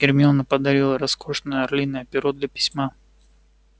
гермиона подарила роскошное орлиное перо для письма